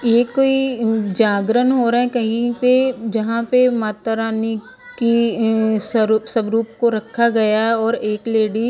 ये कोई जागरण हो रहा है कहीं पे जहां पे माता रानी की उम स्वरूप सब रुप को रखा गया और एक लेडी --